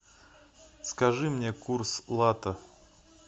скажи мне курс лата